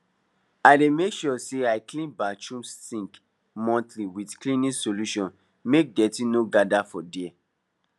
i dey make sure say i clean bathroom sink monthly with cleaning solution make dirty no gather for there